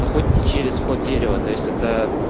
заходите через вход дерева то есть это